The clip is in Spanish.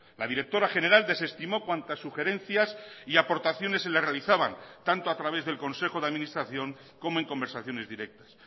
la directora general desestimó cuantas sugerencias y aportaciones se le realizaban tanto a través del consejo de administración como en conversaciones directas